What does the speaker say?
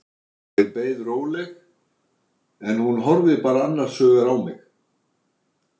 Ég beið róleg, en hún horfði bara annars hugar á mig.